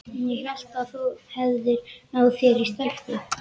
Ég hélt að þú hefðir náð þér í stelpu.